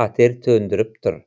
қатер төндіріп тұр